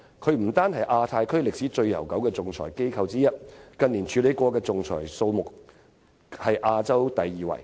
香港不單是亞太區歷史悠久的仲裁機構之一，而近年所處理的仲裁數目更是亞洲第二位。